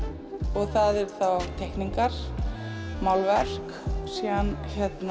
og það eru þá teikningar málverk síðan